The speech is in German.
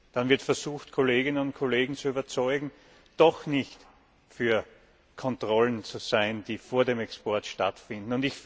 Dann wird versucht, Kolleginnen und Kollegen zu überzeugen, doch nicht für Kontrollen zu sein, die vor dem Export stattfinden.